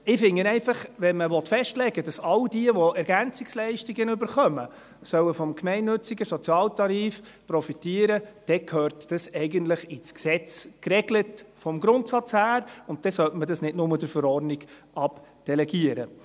Ich finde einfach, wenn man festlegen will, dass all jene, welche Ergänzungsleistungen (EL) erhalten, vom gemeinnützigen Sozialtarif profitieren sollen, dann gehört das eigentlich vom Grundsatz her im Gesetz geregelt, und dann sollte man das nicht nur in die Verordnung abdelegieren.